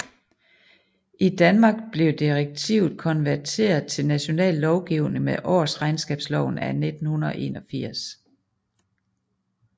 I Danmark blev direktivet konverteret til national lovgivning med Årsregnskabsloven af 1981